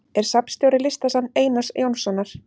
Er safnstjóri Listasafns Einars Jónssonar.